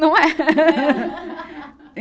Não é?